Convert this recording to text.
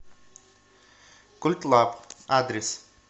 культлаб адрес